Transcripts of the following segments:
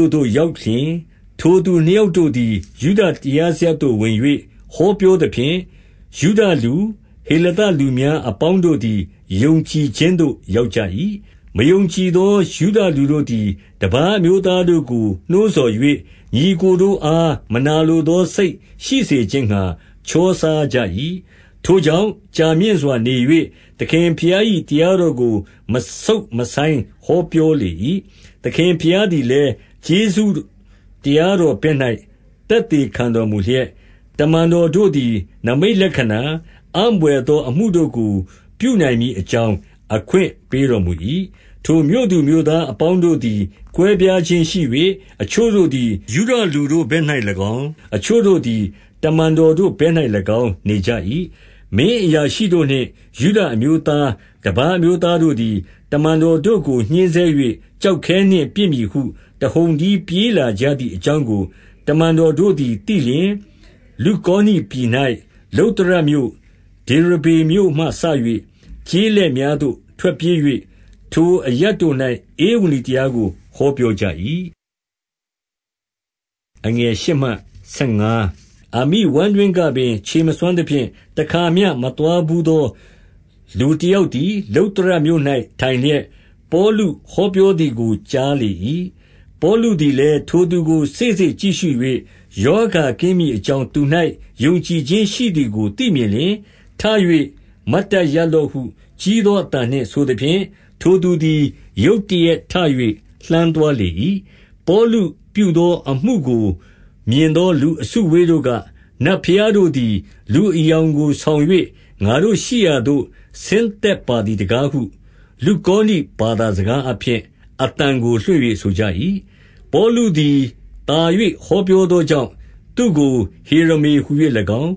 ို့သို့ရောက်လျှင် ထိုသူနှစ်ယောက် တို့သည် ယုဒတရားစရပ်သို့ဝင်၍ ဟောပြောသဖြင့်၊ ယုဒလူ၊ ဟေလသလူများ အပေါင်းတို့သည် ယုံကြည် ခြင်းသို့ ရောက်ကြ၏။ 2 မယုံကြည်သော ယုဒလူတို့သည် တပါးအမျိုး သားတို့ကို နှိုးဆော်၍၊ ညီအစ်ကိုတို့အား မနာလိုသော စိတ်ရှိစေခြင်းငှါ ချောစားကြ၏။ 3 ထိုကြောင့်ကြာမြင့်စွာနေ၍ သခင်ဘုရား၏ တရားတော်ကို မဆုတ်မဆိုင်းဟောပြောလေ၏။ သခင် ဘုရားသည်လည်း ကျေးဇူးတရား တော်ဘက်၌ သက်သေ ခံတော်မူလျက်၊ တမန်တော်တို့သည် နိမိတ်လက္ခဏာ၊ အံဘွယ်သော အမှုတို့ကိုပြုနိုင်မည်အကြောင်း အခွင့် ပေးတော်မူ၏။ 4 ထိုမြို့သူမြို့သားအပေါင်းတို့သည် ကွဲပြားခြင်းရှိ၍၊ အချို့တို့သည် ယုဒလူတို့ဘက်၌၎င်း၊ အချို့တို့သည် တမန်တော်တို့ဘက်၌၎င်း နေကြ၏။ 5 မင်းအရာရှိတို့နှင့်ယုဒအမျိုးသား၊ တပါးအမျိုးသားတို့သည် တမန်တော်တို့ကို ညှဉ်းဆဲ၍ ကျောက်ခဲနှင့် ပစ်မည်ဟုတဟုန်တည်း ပြေး လာကြသည်အကြောင်းကို၊ 6 တမန်တော်တို့သည်သိလျှင်၊ လုကောနိပြည်၌ လုတ္တရမြို့၊ ဒေရဗေမြို့မှစ၍ ကျေးလက်များသို့ ထွက်ပြေး၍၊ 7 ထိုအရပ်တို့၌ ဧဝံဂေလိတရားကို ဟောပြော ကြ၏။ 8 အမိဝမ်းတွင်းကပင်ခြေမစွမ်းသဖြင့်၊ တခါမျှ မသွားဘူးသော လူတယောက်သည် လုတ္တရမြို့၌ ထိုင် လျက်၊ 9 ပေါလုဟောပြောသည်ကို ကြားလေ၏။ ပေါလု သည်လည်း ထိုသူကိုစေ့စေ့ကြည့်ရှု၍ ရောဂါကင်း မည်အကြောင်း သူ၌ယုံကြည်ခြင်းရှိ သည်ကိုသိမြင်လျှင်၊ 10 ထ၍မတ်တတ်ရပ်လော့ဟု ကြီးသောအသံနှင့် ဆိုသဖြင့်၊ ထိုသူ သည်ရုတ်တရက်ထ၍ လှမ်းသွားလေ၏။ 11 ပေါလုပြုသောအမှုကိုမြင်သော လူအစုအဝေး တို့က၊ နတ်ဘုရားတို့သည် လူအယောင်ကိုဆောင်၍ ငါတို့ရှိရာသို့ ဆင်းသက်ပါသည် တကားဟု လုကောနိ ဘာသာ စကားအားဖြင့် အသံကိုလွှင့်၍ ဆိုကြ၏။ 12 ပေါလုသည်သာ၍ ဟောပြောသောကြောင့် သူ့ကို ဟေရမဟူ၍ ၎င်း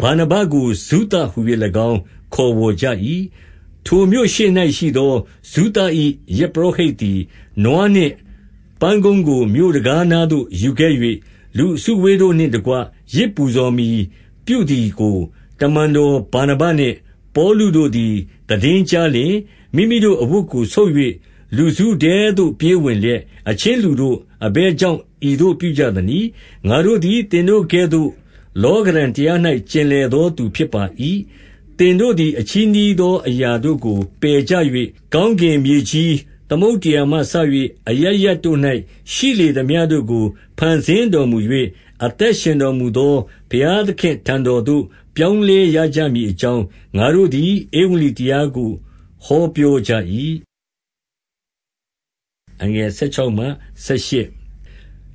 ၊ ဗာနဗကိုဇုသဟူ၍၎င်း ခေါ်ဝေါ်ကြ၏။ 13 ထိုမြို့ရှေ့၌ရှိသော ဇုသ၏ယဇ်ပုရောဟိတ်သည် နွားနှင့် ပန်းတုံးကို မြို့တံခါးနားသို့ယူခဲ့၍၊ လူအစုအဝေးတို့နှင့်တကွ ယဇ်ပူဇော်မည်ပြုသည်ကို၊ 14 တမန်တော်ဗာနဗနှင့် ပေါလုတို့သည် သိတင်းကြားလျှင်၊ မိမိတို့ အဝတ်ကို ဆုတ်၍ လူစုထဲသို့ ပြေးဝင် လျက်၊ 15 အချင်းလူတို့၊ အဘယ်ကြောင့် ဤသို့ပြုကြသနည်း။ ငါတို့သည် သင်တို့ကဲ့သို့ လောကဓံတရား၌ ကျင်လည်သောသူဖြစ်ပါ၏။ သင်တို့သည် ဤအချည်းနှီးသောအရာတို့ကို ပယ်ကြ၍၊ ကောင်းကင်၊ မြေကြီး၊ သမုဒ္ဒရာမှစ၍၊ အသက်ရှင်တော်မူသော ဘုရားသခင့်ထံတော်သို့ ပြောင်းလဲရကြမည်အကြောင်း၊ ငါတို့သည် ဧဝံဂေလိတရားကိုဟောပြောကြ၏။ 16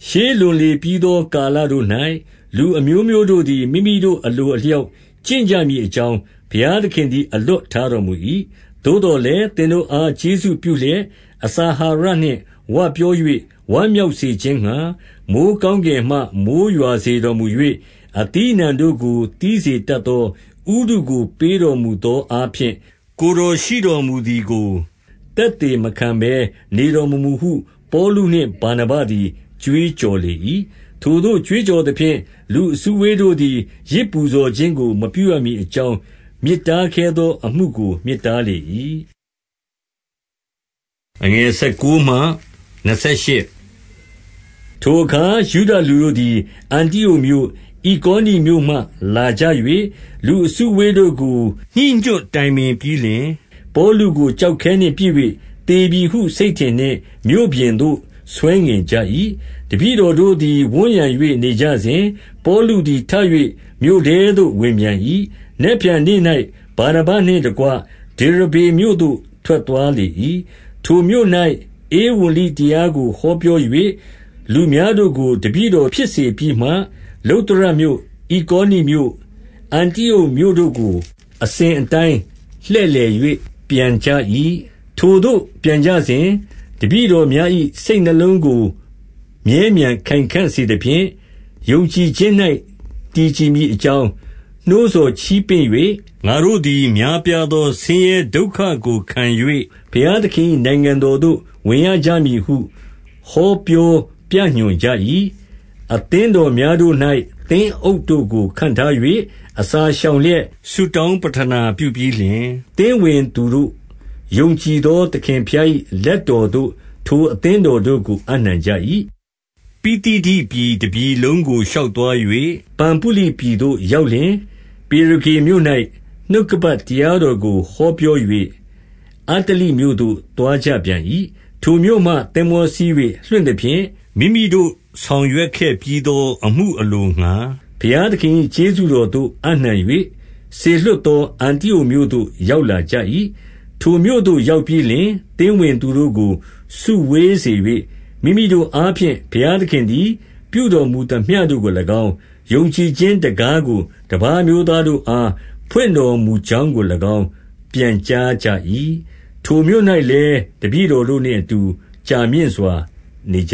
ရှေးလွန်လေပြီးသောကာလတို့၌၊ လူအမျိုးမျိုးတို့သည် မိမိတို့ အလိုအလျောက် ကျင့်ကြမည် အကြောင်း ဘုရားသခင်သည် အလွတ်ထားတော်မူ၏။ 17 သို့သော်လည်း၊ သင်တို့အား ကျေးဇူးပြုလျက်၊ အစာအာဟာရနှင့် ဝပြော၍ဝမ်းမြောက်စေခြင်းငှါ၊ မိုဃ်းကောင်းကင်မှ မိုဃ်းရွာစေတော်မူ၍၊ အသီးအနှံတို့ကို သီးစေတတ်သော ဥတုကိုပေးတော်မူသော အားဖြင့်၊ ကိုယ်တော်ရှိတော်မူသည်ကို သက်သေမခံဘဲနေတော်မမူဟု ပေါလုနှင့် ဗာနဗသည်ကြွေးကြော် လေ၏။ 18 ထိုသို့ကြွေးကြော်သဖြင့် လူအစုအဝေးတို့သည် ယဇ်ပူဇော်ခြင်းကို မပြုရမည်အကြောင်း မြစ်တားခဲသော အမှုကိုမြစ်တားလေ၏။ 19 ထိုအခါ ယုဒလူတို့သည် အန္တိအုတ်မြို့၊ ဣကောနိမြို့မှ လာကြ၍ လူအစုအဝေးတို့ကို ညှိညွတ် တိုင်ပင်ပြီးလျှင်၊ ပေါလုကို ကျောက်ခဲနှင့်ပစ်၍ သေပြီဟု စိတ်ထင်နှင့် မြို့ပြင်သို့ ဆွဲငင်ကြ၏။ 20 တပည့်တော်တို့သည် ဝန်းရံ၍နေကြစဉ်၊ ပေါလုသည် ထ၍မြို့ထဲသို့ဝင်ပြန်၏။ နက်ဖြန်နေ့၌ ဗာနဗနှင့် တကွဒေရဗေမြို့သို့ ထွက်သွားလေ၏။ 21 ထိုမြို့၌ ဧဝံဂေလိတရားကို ဟောပြော၍ လူများတို့ကို တပည့်တော်ဖြစ်စေပြီးမှ၊ လုတ္တရမြို့၊ ဣကောနမြို့၊ အန္တိအုတ်မြို့တို့ကို အစဉ်အတိုင်း လှည့်လည်၍ပြန်ကြ၏။ 22 ထိုသို့ပြန်ကြစဉ်၊ တပည့်တော်များ၏ စိတ်နှလုံးကို မြဲမြံခိုင်ခံ့စေသဖြင့်၊ ယုံကြည်ခြင်း၌ တည်ကြည်မည်အကြောင်း နှိုးဆော်ချီးပင့်၍၊ ငါတို့သည် များပြားသောဆင်းရဲဒုက္ခကိုခံ၍ ဘုရားသခင်၏ နိုင်ငံတော်သို့ ဝင်ရကြမည်ဟု ဟောပြောပြညွှန်ကြ၏။ 23 အသင်းတော်များတို့၌ သင်းအုပ်တို့ကို ခန့်ထား၍၊ အစာရှောင်လျက်ဆုတောင်းပဌနာ ပြုပြီး လျှင်၊ သင်းဝင်သူတို့ယုံကြည်သော သခင်ဘုရား၏ လက်တော်သို့ ထိုအသင်းတော်တို့ကို အပ်နှံကြ၏။ 24 ပိသိဒိပြည်တပြည်လုံးကို ရှောက်သွား၍ ပံဖုလိပြည်သို့ ရောက်လျှင်၊ 25 ပေရဂေမြို့၌ နှုတ်ကပတ် တရားတော်ကို ဟောပြော၍ အတ္တလိမြို့သို့သွားကြပြန်၏။ 26 ထိုမြို့မှ သင်္ဘောစီး၍လွှင့်သဖြင့်၊ မိမိတို့ ဆောင်ရွက်ခဲ့ပြီးသော အမှုအလိုငှါ ဘုရားသခင်၏ ကျေးဇူးတော်သို့ အပ်နှံ၍ စေလွှတ်သော အန္တိအုတ်မြို့သို့ ရောက်လာကြ၏။ 27 ထိုမြို့သို့ရောက်ပြီးလျှင် သင်းဝင်သူတို့ကို စုဝေးစေ၍၊ မိမိတို့အားဖြင့် ဘုရားသခင်သည် ပြုတော်မူသမျှ တို့ကို၎င်း၊ ယုံကြည်ခြင်း တံခါးကို တပါးအမျိုးသားတို့အား ဖွင့်တော်မူကြောင်းကို၎င်း ပြန်ကြား ကြ၏။ 28 ထိုမြို့၌လည်း၊ တပည့်တော်တို့နှင့်အတူ ကြာမြင့်စွာ နေကြ